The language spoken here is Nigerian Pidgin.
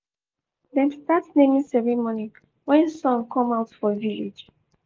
dem start naming ceremony wen sun come out for village